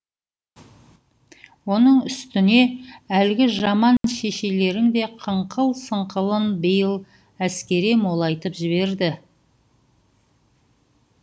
оның үстіне әлгі жаман шешелерің де қыңқыл сыңқылын биыл әскере молайтып жіберді